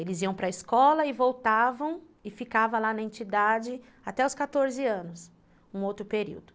Eles iam para a escola e voltavam e ficavam lá na entidade até os quatorze anos, um outro período.